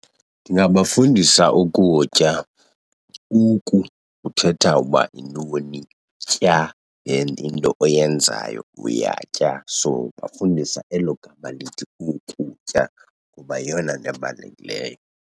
Ndingabafundisa ukutya. Uku uthetha uba yintoni, tya into oyenzayo, uyatya. So ndibafundisa elo gama lithi, ukutya, kuba yeyona nto ebalulekileyo.